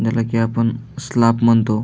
ज्याला की आपण स्लॅप म्हणतो.